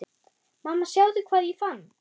Mamma sjáðu hvað ég fann!